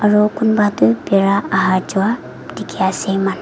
aru kunba toh bira aha jaa dikhi ase.